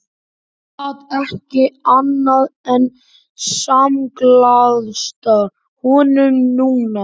Hann gat ekki annað en samglaðst honum núna.